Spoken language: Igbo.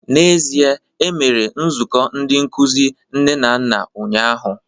N'ezie, e mere nzukọ ndị nkuzi nne na nna ụnyahụ